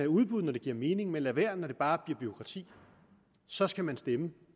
udbud når det giver mening men lader være når det bare bliver bureaukrati så skal man stemme